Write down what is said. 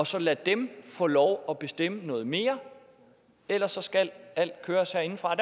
så at lade dem få lov at bestemme noget mere ellers så skal alt køres herindefra